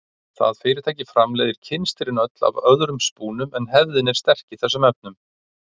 Það fyrirtæki framleiðir kynstrin öll af öðrum spúnum en hefðin er sterk í þessum efnum.